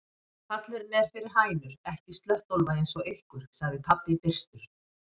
Pallurinn er fyrir hænur, ekki slöttólfa eins og ykkur, sagði pabbi byrstur.